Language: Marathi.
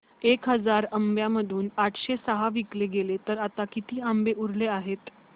एक हजार आंब्यांमधून आठशे सहा विकले गेले तर आता किती आंबे उरले आहेत